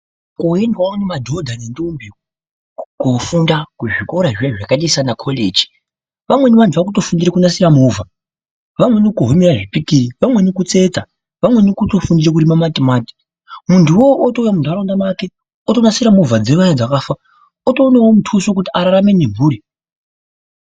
Kunoendwawo ngemadhodha nendombi koofunda kuzvikora ziyani zvakaita semakoreji. Amweni vanhu vakutodzidzire kunasira movha. Vamweni kuvhunira zvikiri. Vamweni kutsetsa. Vamweni kutofunde kurima matimati. Munhuwo wona uwowo wotouya munharaunda make otonasira movha dzaanhu dzakafa otoona mutuso wekuti ararame nemhuri.